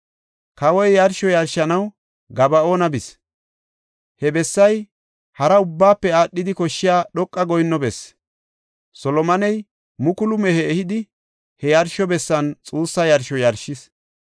Kawoy yarsho yarshanaw Gaba7oona bis; he bessay hara ubbaafe aadhidi koshshiya dhoqa goyinno bessi. Solomoney mukulu mehe ehidi, he yarsho bessan xuussa yarsho yarshis.